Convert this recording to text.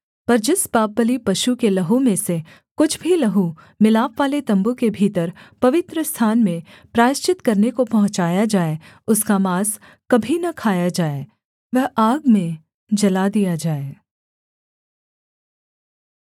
पर जिस पापबलि पशु के लहू में से कुछ भी लहू मिलापवाले तम्बू के भीतर पवित्रस्थान में प्रायश्चित करने को पहुँचाया जाए उसका माँस कभी न खाया जाए वह आग में जला दिया जाए